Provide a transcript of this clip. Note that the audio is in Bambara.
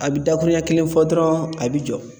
A bi dakurunya kelen fɔ dɔrɔn a bi jɔ.